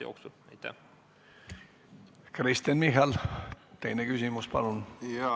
Kristen Michal, teine küsimus, palun!